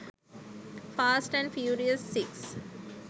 fast and furious 6